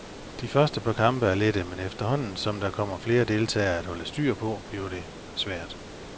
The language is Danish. De første par kampe er lette, men efterhånden som der kommer flere deltagere at holde styr på, bliver der svært.